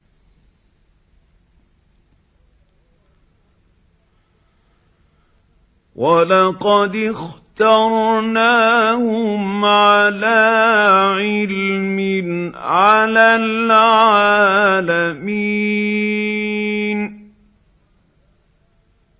وَلَقَدِ اخْتَرْنَاهُمْ عَلَىٰ عِلْمٍ عَلَى الْعَالَمِينَ